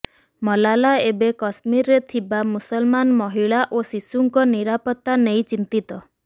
ମଲାଲା ଏବେ କଶ୍ମୀରରେ ଥିବା ମୁସଲମାନ ମହିଳା ଓ ଶିଶୁଙ୍କ ନିରାପତ୍ତା ନେଇ ଚିନ୍ତିତ